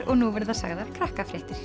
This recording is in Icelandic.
og nú verða sagðar